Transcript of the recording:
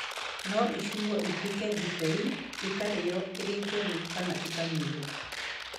No ĩcinwo ĩtuĩke ndibei, ĩkarĩĩo ĩrĩ njerũ kana ĩkaiywo.